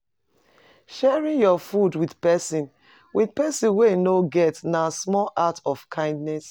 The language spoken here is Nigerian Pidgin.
Sharing your food with person with person wey no get na small act of kindness.